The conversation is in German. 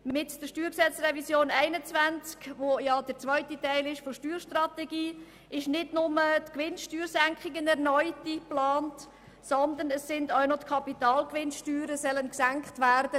Mit der StG-Revision 2021, die dem zweiten Teil der Steuerstrategie entspricht, wird nicht nur die Gewinnsteuersenkung erneut eingeplant, sondern es sollen auch die Kapitalgewinnsteuern gesenkt werden.